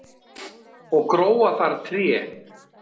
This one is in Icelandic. og gróa þar tré